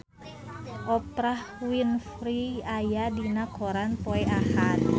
Oprah Winfrey aya dina koran poe Ahad